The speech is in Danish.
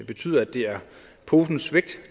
betyder at det er posens vægt